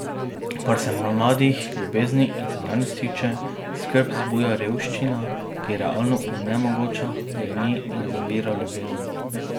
Kar se mladih, ljubezni in denarnic tiče, skrb zbuja revščina, ki realno onemogoča, greni in zavira ljubezen.